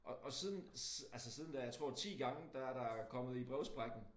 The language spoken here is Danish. Og og siden altså siden da jeg tror 10 gange der er der kommet i brevsprækken